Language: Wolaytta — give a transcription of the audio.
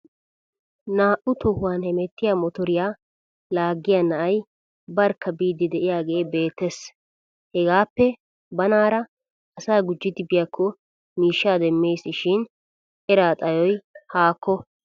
Naa'u tohuwan hemettiya motoriyan laaggiya na'ay barkka biiddi de'iyaagee beettes. Hagaappe banaara asaa gujjidi biyakko miishshaa dammes shin eraa xayoy haakko.